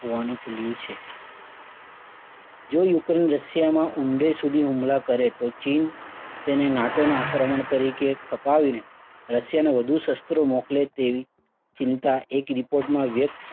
હોવાનું ખુલ્યું છે. જો યુક્રેઇન રશિયાના ઊંડે સુધી હુમલા કરે તો ચીન તેને NATO ના આક્રમણ તરીકે ખપાવીને રશિયાને વધુ શસ્ત્રો મોકલે તેવી ચિંતા એક report માં